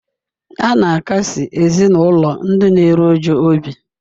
A na-akasi ezinụlọ ndị na-eru uju obi.